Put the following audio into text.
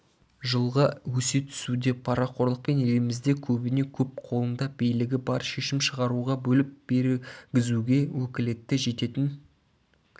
жылға өсе түсуде парақорлықпен елімізде көбіне-көп қолында билігі бар шешім шығаруға бөліп бергізуге өкілеті жететін